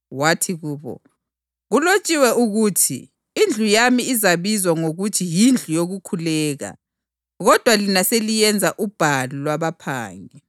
Wathi kubo, “Kulotshiwe ukuthi, ‘Indlu yami izabizwa ngokuthi yindlu yokukhuleka,’ + 21.13 U-Isaya 56.7 kodwa lina seliyenza ‘ubhalu lwabaphangi.’ + 21.13 UJeremiya 7.11 ”